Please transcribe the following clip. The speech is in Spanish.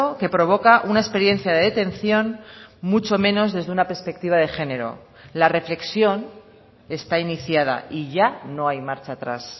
que provoca una experiencia de detención mucho menos desde una perspectiva de género la reflexión está iniciada y ya no hay marcha atrás